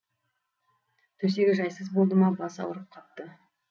төсегі жайсыз болды ма басы ауырып қапты